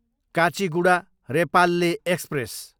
Kacheguda, Repalle express